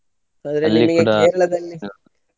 Kerala ದಲ್ಲಿ.